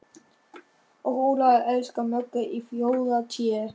Og Ólafur elskar Möggu í fjórða Té.